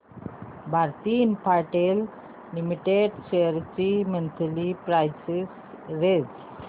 Bharti Infratel limited shares ची monthly price range